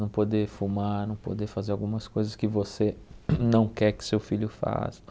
Não poder fumar, não poder fazer algumas coisas que você não quer que seu filho faça.